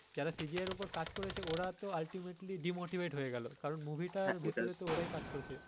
যারা CGI এর ওপর কাজ করেছে ওরা তো ultimately demotivate হয়ে গেলো কারন movie টার ভেতোরে তো ওরাই কাজ করেছে